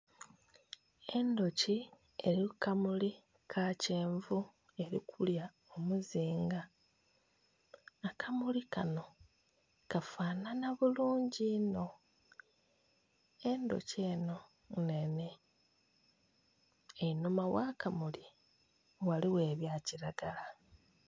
Endhuki eri kukamuli kakyenvu erikulya omuzinga akamuli kano kafanhanha bulungi inho, endhuki eno nnhenhe einhuma ghakamuli ghaligho ebyakiragala.